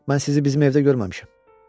Mən sizi bizim evdə görməmişəm.